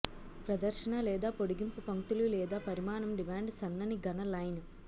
ప్రదర్శన లేదా పొడిగింపు పంక్తులు లేదా పరిమాణం డిమాండ్ సన్నని ఘన లైన్